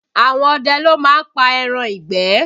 Àwọn ọdẹ ló má ń pa ẹran ìgbẹ́